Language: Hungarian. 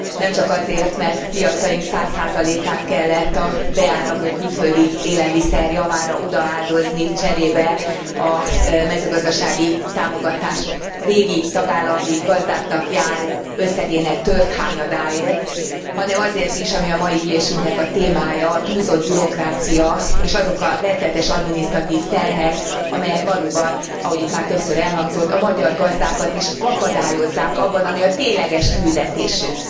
Nem csak azért, mert piacaink 100 át kellett a beáramló külföldi élelmiszer javára odaáldozni, cserébe a mezőgazdasági támogatások régi tagállami gazdáknak járó összegének tört hányadáért, hanem azért is, ami a mai ülésünknek a témája, a túlzott bürokrácia és azok a rettenetes adminisztratív terhek, amelyek valóban, ahogy itt már többször elhangzott a magyar gazdákat is akadályozzák abban, ami a tényleges küldetésük